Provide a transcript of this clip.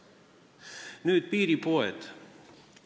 Nüüd meie piiriäärsetest poodidest.